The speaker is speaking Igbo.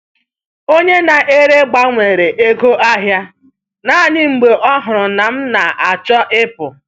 Onye na-ere gbanwere ego ahị a naanị mgbe ọ hụrụ na m na-achọ ịpụ.